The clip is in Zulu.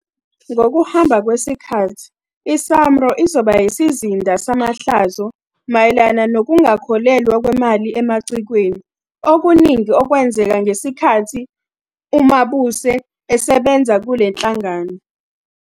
Ngokuhamba kwesikhathi iSAMRO izoba yisizinda samahlazo mayelana nokungakhokhelwa kwemali emacikweni, okuningi okwenzeka ngesikhathi uMabuse esebenza kule nhlangano.